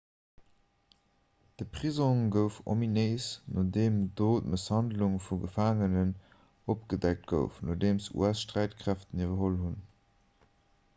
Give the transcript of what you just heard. de prisong gouf ominéis nodeem do d'mësshandlung vu gefaangenen opgedeckt gouf nodeem us-sträitkräften iwwerholl hunn